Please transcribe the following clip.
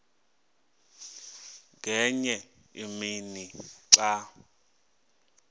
ngenye imini xa